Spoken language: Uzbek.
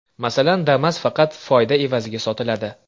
Masalan, Damas faqat foyda evaziga sotiladi.